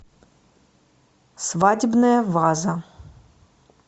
свадебная ваза